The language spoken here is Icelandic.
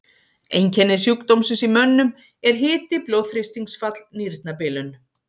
Einkenni sjúkdómsins í mönnum eru hiti, blóðþrýstingsfall, nýrnabilun.